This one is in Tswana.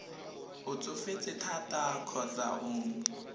o tsofetse thata kgotsa o